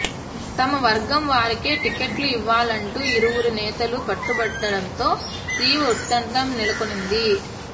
తమ వర్గం వారికే టికెట్లు ఇవ్వాలంటూ ఇరువురు నేతలు పట్టుబట్టడంతో తీవ్ర ఉత్కంఠ నెలకొంది